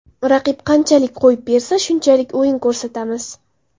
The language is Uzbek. Raqib qanchalik qo‘yib bersa, shunchalik o‘yin ko‘rsatamiz.